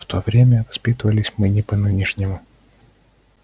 в то время воспитывались мы не по-нынешнему